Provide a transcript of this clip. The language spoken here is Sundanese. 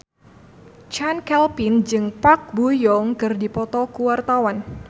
Chand Kelvin jeung Park Bo Yung keur dipoto ku wartawan